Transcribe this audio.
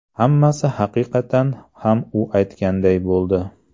Hammasi haqiqatan ham u aytganday bo‘ldi.